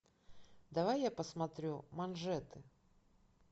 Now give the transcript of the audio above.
давай я посмотрю манжеты